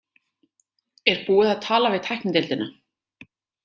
Er búið að tala við tæknideildina?